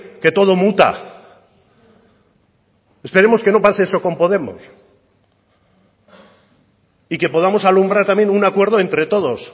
que todo muta esperemos que no pase eso con podemos y que podamos alumbrar también un acuerdo entre todos